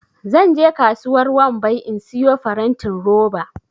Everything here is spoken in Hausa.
zan je kasuwar wambai in siyo farantin roba